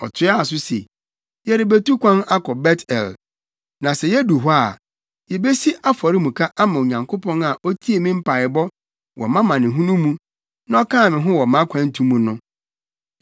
Ɔtoaa so se, “Yɛrebetu kwan akɔ Bet-El. Na sɛ yedu hɔ a, yebesi afɔremuka ama Onyankopɔn a otiee me mpaebɔ wɔ mʼamanehunu mu, na ɔkaa me ho wɔ mʼakwantu mu no.”